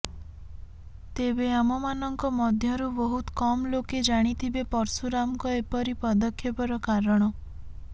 ତେବେ ଆମମାନଙ୍କ ମଧ୍ୟରୁ ବହୁତ କମ ଲୋକେ ଜାଣିଥିବେ ପର୍ଶୁରାମଙ୍କ ଏପରି ପଦକ୍ଷେପର କାରଣ